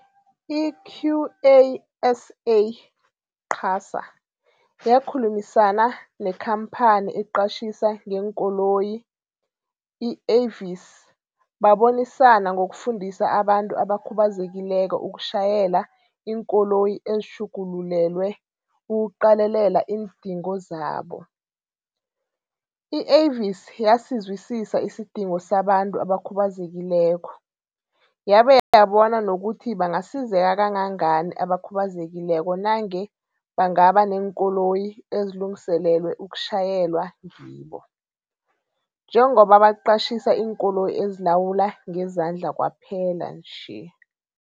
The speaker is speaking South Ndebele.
I-QASA yakhulumisana nekhamphani eqatjhisa ngeenkoloyi i-Avis babonisana ngokufundisa abantu abakhubazekileko ukutjhayela iinkoloyi ezitjhugululelwe ukuqalelela iindingo zabo. I-Avis yasizwisisa isidingo sabantu abakhubazekileko, yabe yabona nokuthi bangasizeka kangangani abakhubazekileko nange bangabaneenkoloyi ezilungiselelwe ukutjhayelwa ngibo, njengoba baqatjhisa iinkoloyi ezilawulwa ngezandla kwaphela nje.